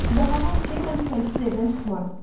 Və halon ki, mən tüfəngsiz evdən çıxmaram.